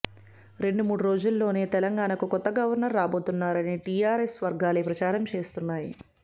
రెండు మూడు రోజుల్లో నే తెలంగాణకు కొత్త గవర్నర్ రాబోతున్నారని టీఆర్ఎస్ వర్గాలే ప్రచారం చేస్తున్నాయి